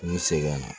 N bɛ segin ka na